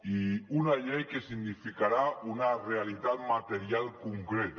i una llei que significarà una realitat material concreta